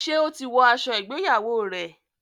ṣe o tí wò aṣọ ìgbéyàwó rẹ?